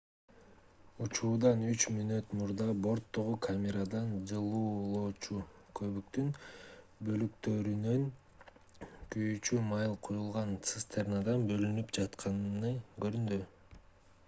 учуудан 3 мүнөт мурда борттогу камерада жылуулоочу көбүктүн бөлүктөрүнүн күйүүчү май куюлган цистернадан бөлүнүп жатканы көрүндү